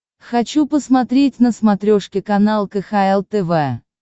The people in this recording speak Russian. хочу посмотреть на смотрешке канал кхл тв